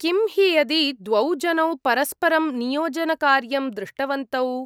किं हि यदि द्वौ जनौ परस्परं नियोजनकार्यं दृष्टवन्तौ?